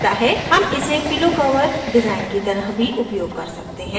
हम इसे pillow cover design की तरह भी उपयोग कर सकते हैं